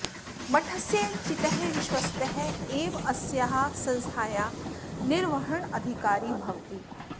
मठस्य चितः विश्वस्तः एव अस्याः संस्थायाः निर्वहणाधिकारी भवति